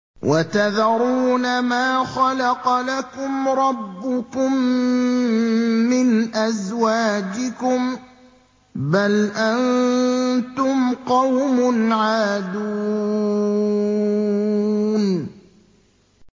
وَتَذَرُونَ مَا خَلَقَ لَكُمْ رَبُّكُم مِّنْ أَزْوَاجِكُم ۚ بَلْ أَنتُمْ قَوْمٌ عَادُونَ